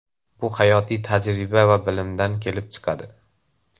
Bu hayotiy tajriba va bilimdan kelib chiqadi.